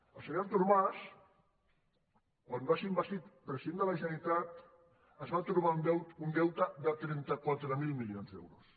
el senyor artur mas quan va ser investit president de la generalitat es va trobar un deute de trenta quatre mil milions d’euros